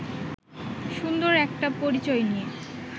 সুন্দর একটা পরিচয় নিয়ে